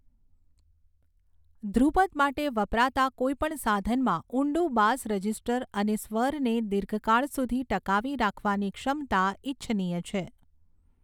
ધ્રુપદ માટે વપરાતા કોઈપણ સાધનમાં ઊંડું બાસ રજીસ્ટર અને સ્વરને દીર્ઘકાળ સુધી ટકાવી રાખવાની ક્ષમતા ઈચ્છનીય છે.